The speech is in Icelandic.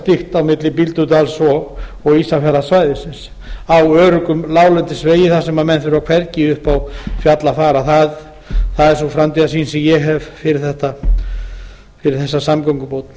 á milli bíldudals og ísafjarðarsvæðisins á öruggum láglendisvegi þar sem menn þurfa hvergi upp á fjall að fara það er sú framtíðarsýn sem ég hef fyrir þessa samgöngubót